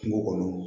Kungo kɔnɔ